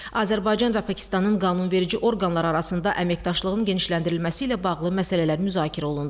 Azərbaycan və Pakistanın qanunverici orqanları arasında əməkdaşlığın genişləndirilməsi ilə bağlı məsələlər müzakirə olundu.